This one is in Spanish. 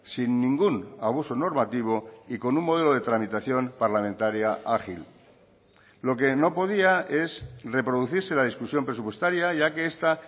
sin ningún abuso normativo y con un modelo de tramitación parlamentaria ágil lo que no podía es reproducirse la discusión presupuestaria ya que esta